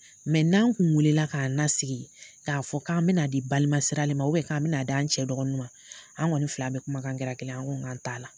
n' an kun wulilala k'an nasigi k'a fɔ k'an mɛna di balima siralen ma k'an mina d'an cɛ dɔgɔnin ma an ŋɔni fila bɛ kumakan kɛra kelen ye, an ko k'an t'a la.